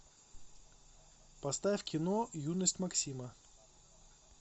поставь кино юность максима